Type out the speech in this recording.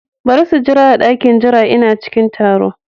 Bari su jira a dakin jira, Ina cikin taro.